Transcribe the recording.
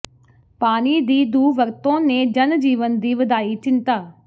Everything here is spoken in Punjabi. ਪਾਣੀ ਦੀ ਦੁਰਵਰਤੋਂ ਨੇ ਜਨ ਜੀਵਨ ਦੀ ਵਧਾਈ ਚਿੰਤਾ